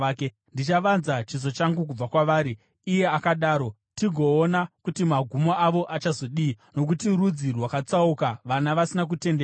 “Ndichavanza chiso changu kubva kwavari,” iye akadaro, “tigoona kuti magumo avo achazodii; nokuti rudzi rwakatsauka, vana vasina kutendeka.